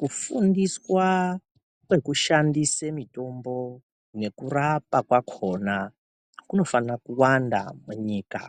Kufundiswa kwekushandsea mitombo nekurapwa kwakona kunofana kurapwa munyika